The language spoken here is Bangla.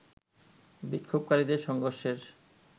বিক্ষাভকারীদের সংঘর্ষের